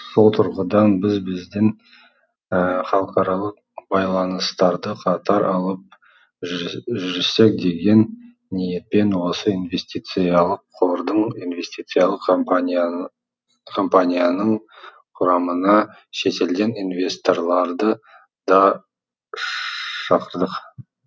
сол тұрғыдан біз бізден халықаралық байланыстарды қатар алып жүрсек деген ниетпен осы инвестициялық қордың инвестициялық компанияның құрамына шетелден инвесторларды да шақырдық